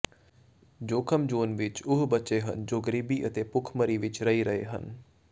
ਜੋਖਮ ਜ਼ੋਨ ਵਿਚ ਉਹ ਬੱਚੇ ਹਨ ਜੋ ਗਰੀਬੀ ਅਤੇ ਭੁੱਖਮਰੀ ਵਿਚ ਰਹਿ ਰਹੇ ਹਨ